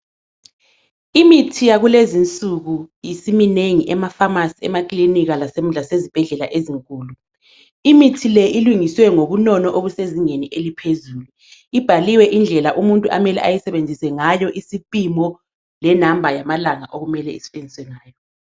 Imithi yakulezi nsuku isiminengi emafamasi, emakilinika lasezibhedlela ezinkulu, imithi le ilungiswe ngobunono obusezingeni eliphezulu, ibhaliwe indlela umuntu amele ayisebenzise ngayo isipimo le"number" yamalanga okumele isetshenziswe ngayo.